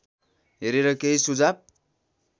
हेरेर केही सुझाव